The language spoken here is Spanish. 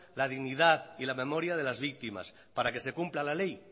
la dignidad y la memoria de las víctimas para que se cumpla la ley